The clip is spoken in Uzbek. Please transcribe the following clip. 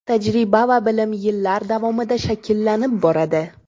Tajriba va bilim yillar davomida shakllanib boradi.